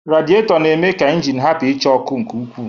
Radịetọ na-eme ka ịnjin hapụ ichaa ọkụ nke ukwuu.